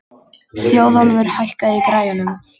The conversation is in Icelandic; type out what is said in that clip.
Þjóðólfur, hækkaðu í græjunum.